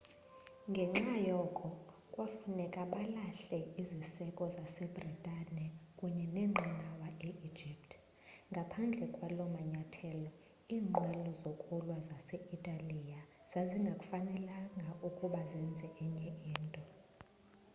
ngenxa yoko kwafuneka balahle iziseko zase-bhritane kunye neenqanawa e-egypt ngaphandle kwala manyathelo iinqwelo zokulwa zase-italiya zazingafanelekanga ukuba zenze enye into